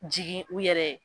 Jigin u yɛrɛ ye.